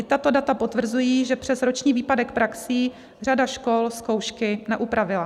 I tato data potvrzují, že přes roční výpadek praxí řada škol zkoušky neupravila.